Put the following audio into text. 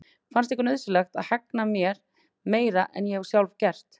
Fannst ykkur nauðsynlegt að hegna mér meira en ég hef sjálf gert?